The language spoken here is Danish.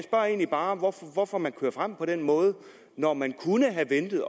egentlig bare hvorfor hvorfor man kører frem på den måde når man kunne have ventet